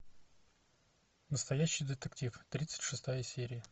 настоящий детектив тридцать шестая серия